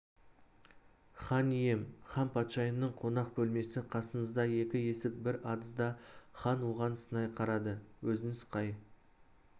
хан ием ханпатшайымның қонақ бөлмесі қасыңызда екі есік бір адызда хан оған сынай қарады өзіңіз қай